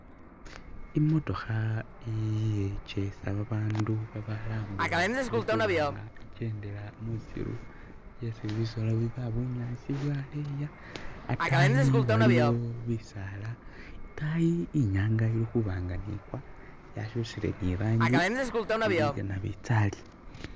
Imootokha ijeesa babandu babalambula ilikhubanga ijendela mwisiru yesi bisolo biba bunyaasi bwaleya ataayi waliyo bisaala itaayi inyanga ilikubanga nigwa yakyusile ni rangi ili yenabitsali